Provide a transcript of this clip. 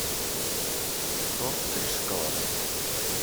торт три шоколада